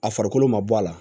A farikolo ma bɔ a la